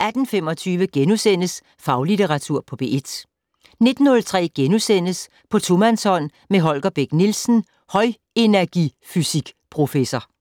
18:25: Faglitteratur på P1 * 19:03: På tomandshånd med Holger Bech Nielsen, højenergifysik-professor *